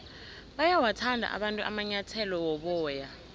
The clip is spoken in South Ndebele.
bayawathanda abantu amanyathele woboya